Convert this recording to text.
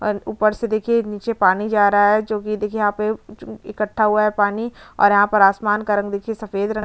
और ऊपर से देखिये नीचे पानी जा रहा है जो कि देखिये यहाँ पे इक्क्ठा हुआ है पानी और यहाँ पर आसमान का रंग देखिये सफ़ेद रंग--